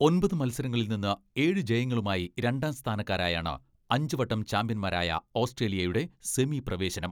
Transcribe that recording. ഒമ്പത് മത്സരങ്ങളിൽ നിന്ന് ഏഴു ജയങ്ങളുമായി രണ്ടാം സ്ഥാനക്കാരായാണ് അഞ്ചു വട്ടം ചാംപ്യൻമാരായ ഓസ്ട്രേലിയയുടെ സെമി പ്രവേശനം.